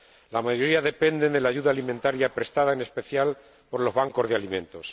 La mayoría dependen de la ayuda alimentaria prestada, en especial, por los bancos de alimentos.